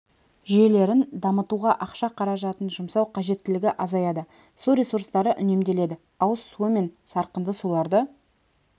жүйелерін дамытуға ақша қаражатын жұмсау қажеттілігі азаяды су ресурстары үнемделеді ауыз су мен сарқынды суларды